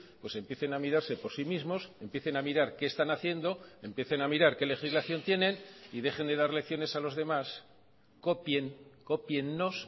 pues empiecen a mirarse por sí mismos empiecen a mirar qué están haciendo empiecen a mirar qué legislación tienen y dejen de dar lecciones a los demás copien cópienos